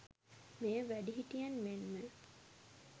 මෙය වැඩිහිටියන් මෙන්ම